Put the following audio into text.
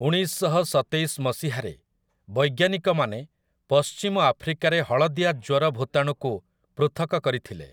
ଉଣେଇଶଶହ ସତେଇଶ ମସିହାରେ ବୈଜ୍ଞାନିକମାନେ ପଶ୍ଚିମ ଆଫ୍ରିକାରେ ହଳଦିଆ ଜ୍ୱର ଭୂତାଣୁକୁ ପୃଥକ କରିଥିଲେ ।